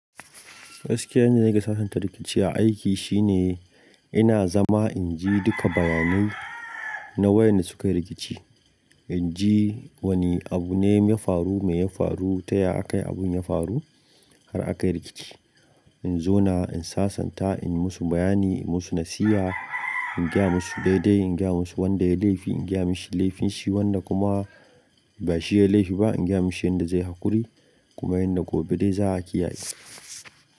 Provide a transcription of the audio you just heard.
Gaskiyane nake sasanta rikici a aiki shine ina zama in ji duka bayanai na wayanda suka yi rikici. In ji wane abu ne ya faru, me ya faru, taya aka yi abun ya faru har aka yi rikici. In zo na in sasanta, in musu bayani, in musu nasiha, in gaya musu daidai, in gaya musu wanda ya yi laifi, in gaya mashi laifinshi, wanda kuma ba shi ya yi laifi ba in gaya mashi yanda zai haƙuri kuma yanda gobe dai za a kiyaye.